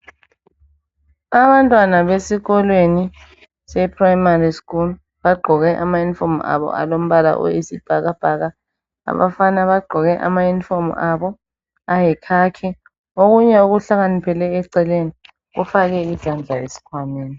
Abantwana besikolweni seprimary school bagqoke amayunifomu abo alombala oyisibhakabhaka abafana bagqoke amayunifomu abo ayikhakhi, okunye kuhlakaniphele eceleni kufake izandla eskhwameni.